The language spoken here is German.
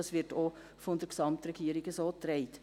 Dies wird von der Gesamtregierung auch so getragen.